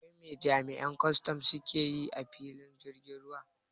Wai me jami'an kwaston suke yi a filin jirgin ruwa?